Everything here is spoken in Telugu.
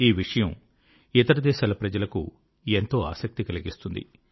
ఈ విషయం ఇతరదేశాల ప్రజలకు ఎంతో ఆసక్తి కలిగిస్తుంది